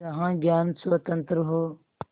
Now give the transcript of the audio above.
जहाँ ज्ञान स्वतन्त्र हो